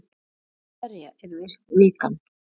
Fyrir hverja er vikan?